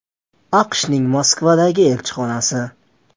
AQShning Moskvadagi elchixonasi.